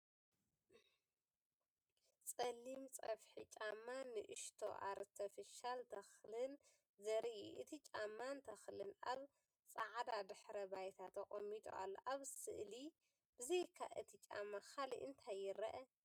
ጸሊም ጸፍሒ ጫማን ንእሽቶ ኣርቲፊሻል ተኽልን ዘርኢ እዩ። እቲ ጫማን ተኽልን ኣብ ጻዕዳ ድሕረ ባይታ ተቐሚጡ ኣሎ። ኣብ ስእሊ ብዘይካ እቲ ጫማ ካልእ እንታይ ይርአ?